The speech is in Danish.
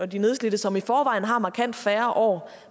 de nedslidte som i forvejen har markant færre år